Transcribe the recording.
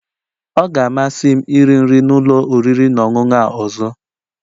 Ọ ga-amasị m iri nri na ụlọ oriri na ọṅụṅụ a ọzọ